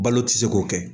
Balo tɛ se k'o kɛ